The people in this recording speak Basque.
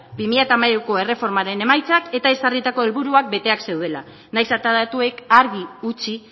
bi mila hamairuko erreformaren emaitzak eta ezarritako helburuak beteak zeudela nahiz eta datuek argi utzi